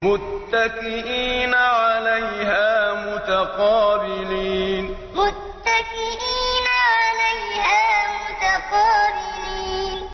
مُّتَّكِئِينَ عَلَيْهَا مُتَقَابِلِينَ مُّتَّكِئِينَ عَلَيْهَا مُتَقَابِلِينَ